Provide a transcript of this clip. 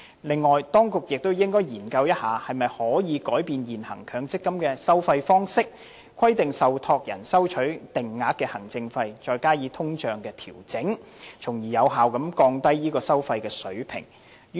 此外，當局亦應該研究是否可以改變現行強積金的收費方式，規定受託人收取定額行政費，再加上通脹的調整，從而有效地降低收費水平。